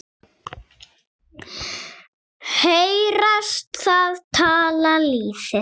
Heyrast það tala lýðir.